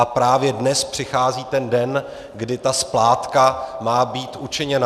A právě dnes přichází ten den, kdy ta splátka má být učiněna.